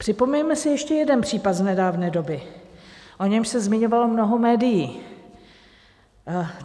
Připomeňme si ještě jeden případ z nedávné doby, o němž se zmiňovalo mnoho médií.